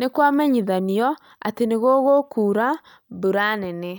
Nĩ kwamenyithanio atĩ nĩ gũgũkũra mbura nene